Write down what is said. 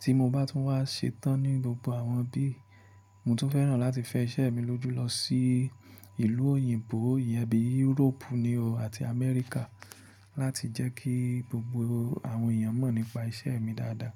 Tí mo bá tún wá ṣetán ní gbogbo àwọn ibí, mo tún fẹ́ràn láti fẹ iṣẹ́ mi lójú lọ sí ìlú òyìnbó iyẹn bí Europe ni o àti America láti jẹ́ kí gbogbo àwọn èèyàn mọ̀ nípa iṣẹ́ mi dáadáa.